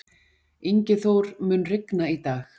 Ingiþór, mun rigna í dag?